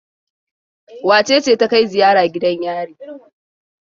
Wace ce ta kai ziya gidan yari?